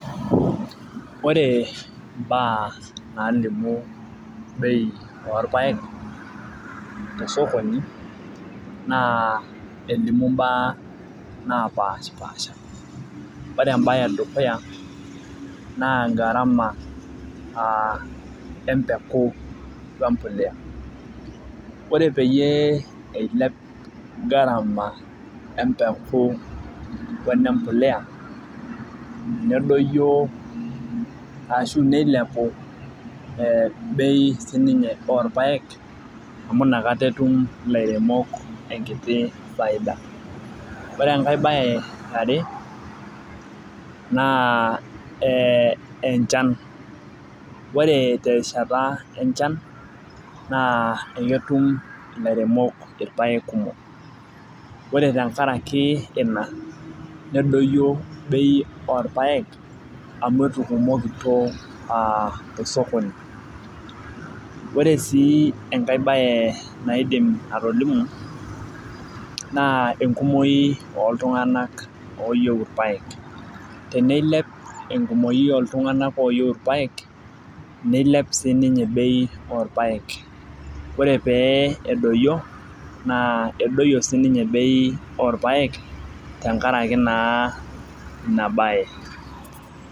Ore imbaa naalimu bei orpaek tesokoni naa elimu imbaa naapashipasha ore bei edukuya naa empeku ombolea ore peyie eilep garama empeku wenembolea nedoyio aashu neilepu bei siininche oorpaek amu inakata etum ilairemok faida ore enkae baye yare naa enchan ore terishata enchana naa ketum ilairemok enchan sapuk ore ilairemok loorpaek nedoiyio bei amu etukumokito a tosokoni ore sii enkae bae naidim atolimu naa enkumoi ooltung'anak looyieu irpaek teneilp enkumoi ooltung'anak ooyieu irpaek neilep ore pee eduyie na edoyie siininye bei orpaek tenkaraki ina paye